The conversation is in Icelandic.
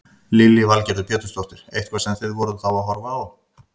Lillý Valgerður Pétursdóttir: Eitthvað sem þið voruð þá að horfa á?